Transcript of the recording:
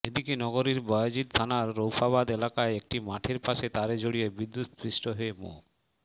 এদিকে নগরীর বায়জিদ থানার রৌফাবাদ এলাকায় একটি মাঠের পাশে তারে জড়িয়ে বিদ্যুৎ স্পৃষ্ট হয়ে মো